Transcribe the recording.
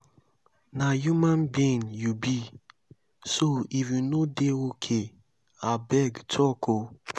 na human being you be so if you no dey okay abeg talk o.